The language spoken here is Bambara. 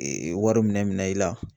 wari minɛ minɛ i la